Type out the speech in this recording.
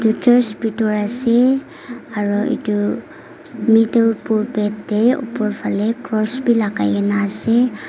church pitor ase aru etu middle te oper phale cross bi lagai kene ase.